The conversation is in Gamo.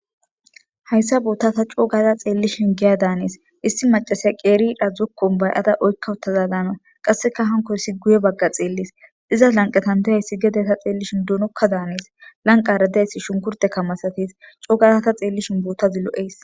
hayssa bootta ta coogaza xeellishin geya daanes issi macasiya qeeridha zokkon bay7ada oykka wutaza zaana qasseka hankoysi guye bagga xeellis dizas lanqatan deyayssi gede ta xeellishin duunokka daaneis lanqa radayssi shunkurte kamasates coogaza ta xeellishin boottazi lo7eys